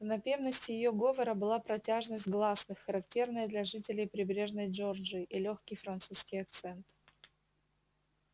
в напевности её говора была протяжность гласных характерная для жителей прибрежной джорджии и лёгкий французский акцент